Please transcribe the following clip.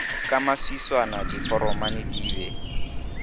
ka maswiswana diforomane di be